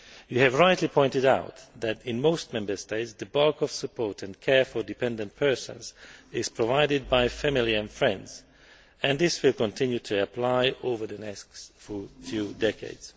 You have rightly pointed out that, in most Member States, the bulk of support and care for dependent persons is provided by family and friends, and this will continue to apply over the next few decades.